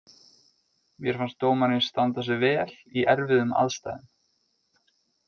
Mér fannst dómarinn standa sig vel í erfiðum aðstæðum.